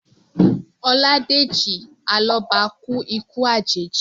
Ọládèjì Alọ́ba kú ikú àjèjì